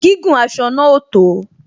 Gígùn aṣọ náà ò tó